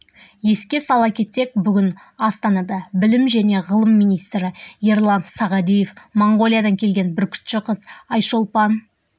еске сала кетсек бүгін астанада білім және ғылым министрі ерлан сағадиев моңғолиядан келген бүркітші қыз айшолпан